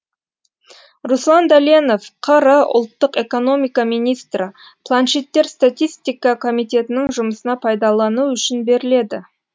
руслан дәленов қр ұлттық экономика министрі планшеттер статистика комитетінің жұмысына пайдалану үшін беріледі